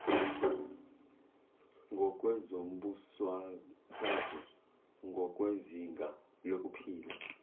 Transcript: ngokwezombusazwe ngokwezinga lokuphila